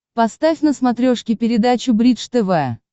поставь на смотрешке передачу бридж тв